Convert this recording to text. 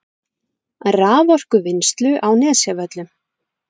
raforkuvinnslu á Nesjavöllum.